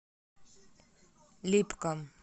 липкам